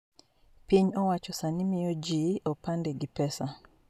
Piny owacho sani miyo jii opande gi pesa